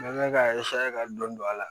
N mɛn k'a ka dɔn a la